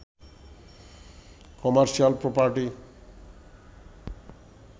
commercial property